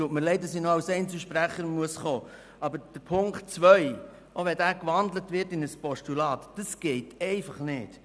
Aber Ziffer 2 – auch wenn diese noch in ein Postulat gewandelt wird –, dies geht einfach nicht!